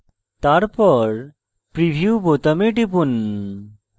তারপর preview বোতামে টিপুন